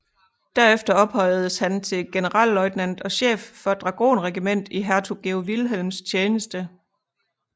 Derefter ophøjedes han til generalløjtnant og chef for et dragonregiment i hertug Georg Vilhelms tjeneste